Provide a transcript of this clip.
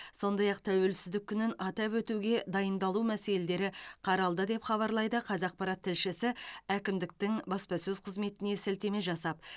сондай ақ тәуелсіздік күнін атап өтуге дайындалу мәселелері қаралды деп хабарлайды қазақпарат тілшісі әкімдіктің баспасөз қызметіне сілтеме жасап